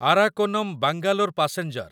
Arakkonam Bangalore passenger